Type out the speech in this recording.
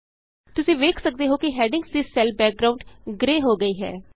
ਤੁਸੀਂ ਦੇਖ ਸਕਦੇ ਹੋ ਕਿ ਹੈਡਿੰਗਸ ਦੀ ਸੈੱਲ ਬੈਕਗਰਾਂਉਡ ਗ੍ਰੇ ਹੋ ਗਈ ਹੈ